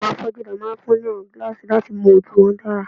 Awọn afọju ni a fun awọn gilaasi lati mu oju wọn dara